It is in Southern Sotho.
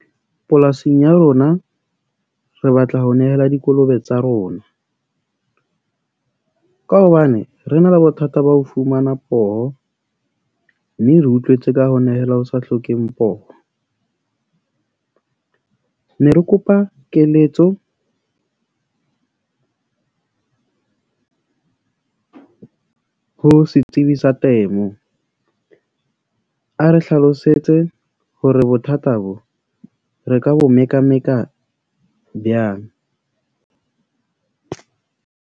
Polasing ya rona, re batla ho nehela dikolobe tsa rona ka hobane re na le bothata ba ho fumana poho. Mme re utlwetse ka ho nehela ho sa hlokeng poho . Ne re kopa keletso ho setsibi sa temo. A re hlalosetse hore bothata bo re ka bo mekameka byang.